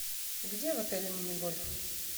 где в отеле мини гольф